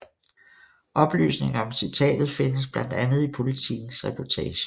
Oplysningen om citatet findes blandt andet i Politikens reportage